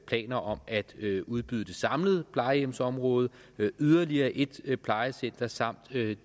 planer om at udbyde det samlede plejehjemsområde yderligere et et plejecenter samt